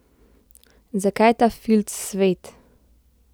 Zakaj je ta filc svet?